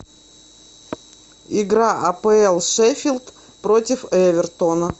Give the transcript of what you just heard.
игра апл шеффилд против эвертона